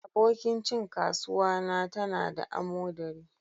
Abokin cin kasuwa na ta na da amodari.